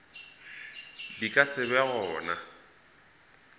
di ka se be gona